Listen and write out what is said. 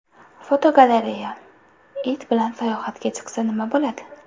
Fotogalereya: It bilan sayohatga chiqsa, nima bo‘ladi?